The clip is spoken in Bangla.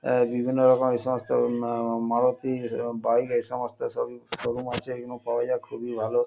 আহ বিভিন্ন রকম এইসমস্ত আহ মারুতি আহ বাইক এইসমস্ত সবই শোরুম আছে। এগুলো পাওয়া যায় খুবই ভালো ।